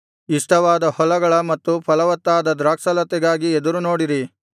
ಇಷ್ಟವಾದ ಹೊಲಗಳ ಮತ್ತು ಫಲವತ್ತಾದ ದ್ರಾಕ್ಷಾಲತೆಗಾಗಿ ಎದುರುನೋಡಿರಿ